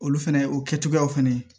Olu fɛnɛ o kɛcogoyaw fɛnɛ